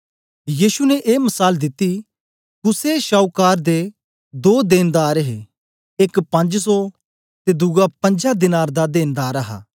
यीशु ने ए मसाल दित्ता कुसे शाऊकार दे दो देनदार हे एक पंज सौ ते दुआ पंजा दीनार दा देनदार हा